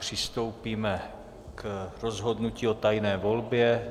Přistoupíme k rozhodnutí o tajné volbě.